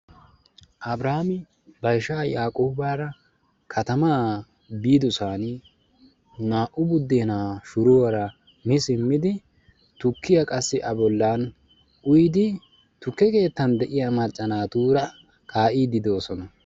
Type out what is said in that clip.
abrihaami ba ishaa yaaqoobara giyaa biidisan naa'u budeenaa shuruwara mii simmidi tukiya qassi a bolaani uyidi tuke keettan de'iya macca naatura kaaa'iidi de'oosona.